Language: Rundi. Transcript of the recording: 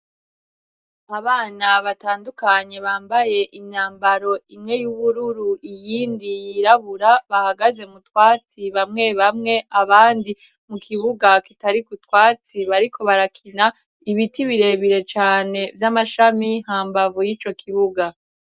Abana batandukanye bambaye imyambaro imwe y'ubururu iyindi yirabura bahagaze mu twatsi bamwe bamwe abandi mu kibuga kitariko utwatsi bariko barakina, ibiti birebire cane vy'amashami hambavu y'ico kibuga.